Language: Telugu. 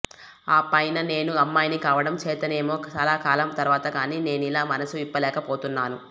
ఆ పైన నేను అమ్మాయిని కావడం చేతనేమో చాలా కాలం తర్వాత గాని నేనిలా మనసు విప్పలేక పోతున్నాను